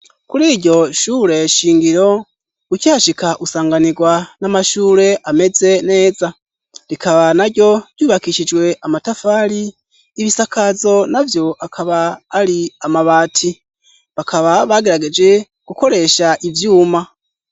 Kuri iryo shure shingiro ukihashika usanganirwa n'amashure ameze neza rikaba na ryo ryubakishijwe amatafari, ibisakazo navyo akaba ari amabati. Bakaba bagerageje gukoresha ivyuma.